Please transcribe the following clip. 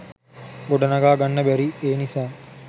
ගොඩ නගා ගන්න බැරි ඒ නිසා.